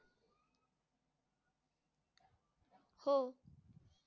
हो